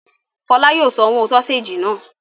Fọlá yóò sanwó sọ́séjì náà.